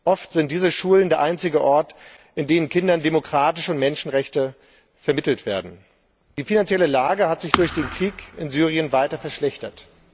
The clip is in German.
Oft sind diese Schulen der einzige Ort, an dem Kindern demokratische Werte und Menschenrechte vermittelt werden. Die finanzielle Lage hat sich durch den Krieg in Syrien weiter verschlechtert.